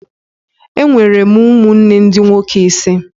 E nwere m ụmụnne ndị nwoke ise